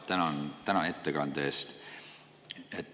Tänan teid ettekande eest.